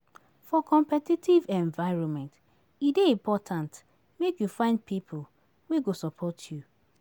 For competitive environment, e dey important make you find pipo wey go support you.